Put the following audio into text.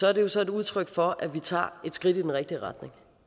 er det jo så et udtryk for at vi tager et skridt i den rigtige retning